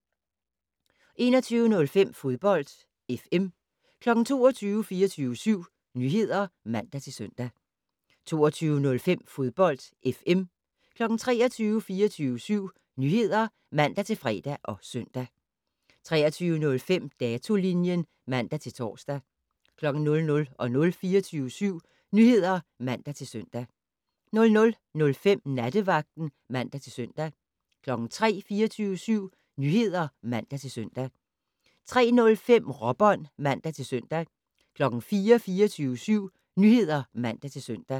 21:05: Fodbold FM 22:00: 24syv Nyheder (man-søn) 22:05: Fodbold FM 23:00: 24syv Nyheder (man-fre og søn) 23:05: Datolinjen (man-tor) 00:00: 24syv Nyheder (man-søn) 00:05: Nattevagten (man-søn) 03:00: 24syv Nyheder (man-søn) 03:05: Råbånd (man-søn) 04:00: 24syv Nyheder (man-søn)